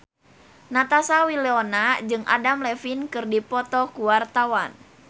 Natasha Wilona jeung Adam Levine keur dipoto ku wartawan